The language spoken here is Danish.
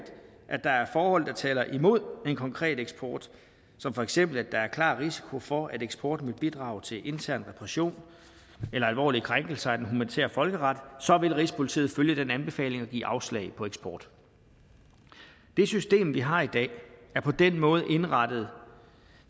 at der er forhold der taler imod den konkrete eksport som for eksempel at der er klar risiko for at eksporten vil bidrage til intern repression eller alvorlige krænkelser af den humanitære folkeret så vil rigspolitiet følge den anbefaling og give afslag på eksport det system vi har i dag er på den måde indrettet